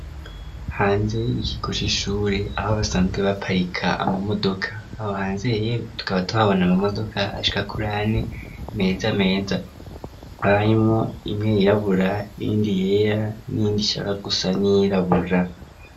Hanze y'ikigo c'ishure, aho basanzwe baparika ama modoka, aho hanze tukaba tuhabona ama modoka ashika kurane meza meza, hakaba harimwo imwe yirabura, iyindi yera, niyindi ishaka gusa n'iyirabura.